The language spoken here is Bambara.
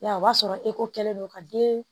Yarɔ o b'a sɔrɔ kɛlen don ka den